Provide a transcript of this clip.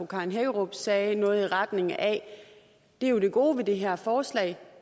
karen hækkerup sagde noget i retning af at det gode ved det her forslag